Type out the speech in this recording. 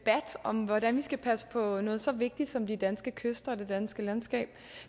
om hvordan vi skal passe på noget så vigtigt som de danske kyster og det danske landskab